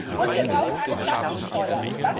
Und wir brauchen eine Plastiksteuer.